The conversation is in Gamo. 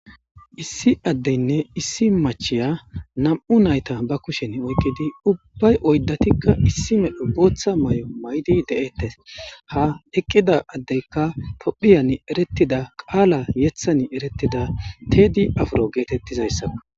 issi addeynne issi machiya nam7u nayta ba kushen oykkidi ubbay oydatikka issi medho booththa may7o maydi de7eettes ha eqqida addeykka tophiyan eretida qaala yethan erettida teedi afro geetettizayssaa